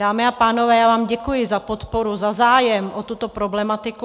Dámy a pánové, já vám děkuji za podporu, za zájem o tuto problematiku.